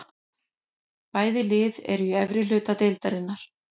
Bæði lið eru í efri hluta deildarinnar.